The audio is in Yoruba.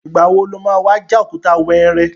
Ìgbà wo lo má wá já òkúta wẹ́ẹ́rẹ́?